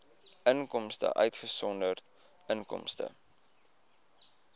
inkomste uitgesonderd inkomste